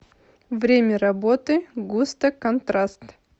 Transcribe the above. время работы густо контраст